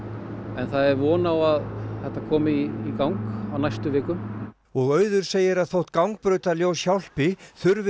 en það er von á að þetta komi í gang á næstu vikum auður segir að þótt gangbrautarljós hjálpi þurfi